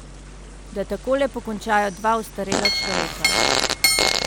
Da takole pokončajo dva ostarela človeka.